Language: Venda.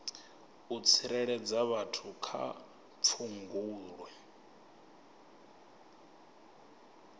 u tsireledza vhathu kha pfudzungule